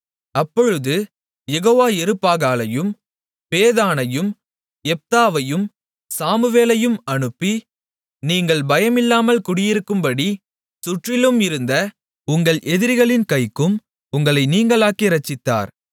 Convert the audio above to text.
அப்பொழுது யெகோவா யெருபாகாலையும் பேதானையும் யெப்தாவையும் சாமுவேலையும் அனுப்பி நீங்கள் பயமில்லாமல் குடியிருக்கும்படிச் சுற்றிலும் இருந்த உங்கள் எதிரிகளின் கைக்கும் உங்களை நீங்கலாக்கி இரட்சித்தார்